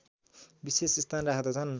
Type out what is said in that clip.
विशेष स्थान राख्दछन्